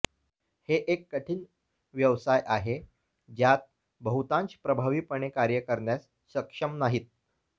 हे एक कठीण व्यवसाय आहे ज्यात बहुतांश प्रभावीपणे कार्य करण्यास सक्षम नाही